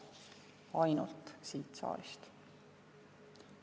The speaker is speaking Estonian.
Ainult siit saalist.